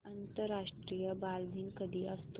आंतरराष्ट्रीय बालदिन कधी असतो